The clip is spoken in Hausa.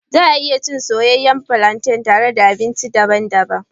Za a iya cin soyayyen flantain tare da abinci daban-daban.